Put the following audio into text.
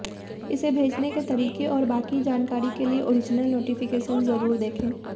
इसे भेजने के तरीके और बाकी जानकारी के लिए ओरिजनल नोटिफिकेशन जरूर देखें